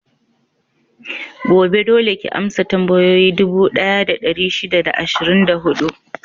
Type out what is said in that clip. Gobe, dole ki amsa tambayoyi dubu ɗaya da ɗari shida da ashirin da huɗu!